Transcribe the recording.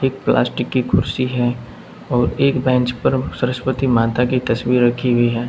एक प्लास्टिक की कुर्सी है और एक बेंच पर सरस्वती माता की तस्वीर रखी हुई है।